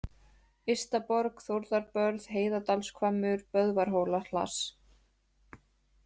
Ystaborg, Þórðarbörð, Heiðadalshvammur, Böðvarshólahlass